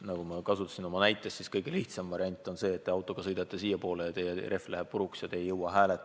Nagu ma näiteks tõin, siis kõige lihtsam variant on see, et te autoga sõidate siiapoole ja teie auto rehv läheb puruks ja te ei jõua hääletama.